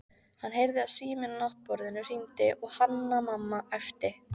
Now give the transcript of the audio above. Hann heyrði að síminn á náttborðinu hringdi og Hanna-Mamma æpti